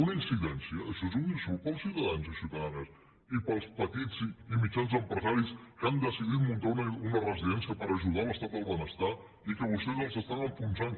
una incidència això és un insult per als ciutadans i ciutadans i per als petits i mitjans empresaris que han decidit muntar una residència per ajudar a l’estat del benestar i que vostès els estan enfonsant